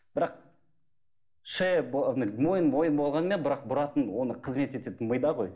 бірақ шея мойын мойын болғанымен бірақ бұратын оны қызмет ететін мида ғой